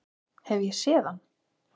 Hef ég séð hann?